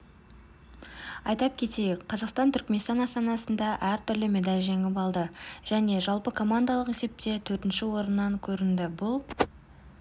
айтап кетейік қазақстан түркіменстан астанасында әртүрлі медаль жеңіп алды және жалпыкомандалық есепте төртінші орыннан көрінді бұл